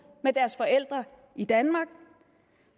med deres forældre i danmark